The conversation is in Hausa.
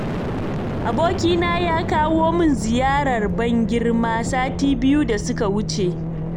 Abokina ya kawo min ziyarar ban-girma sati biyu da suka wuce.